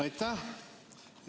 Aitäh!